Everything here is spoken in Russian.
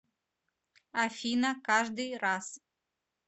афина каждый раз